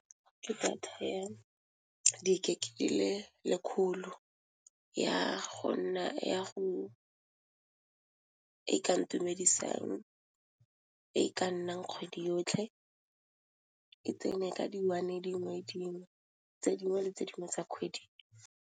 Ke data ya di gig di le lekgolo ya go nna ya go e ka ntumedisang e ka nnang kgwedi yotlhe, e tsene ka di one dingwe le dingwe tse dingwe le tse dingwe tsa kgwedi.